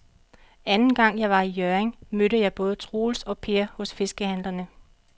Anden gang jeg var i Hjørring, mødte jeg både Troels og Per hos fiskehandlerne.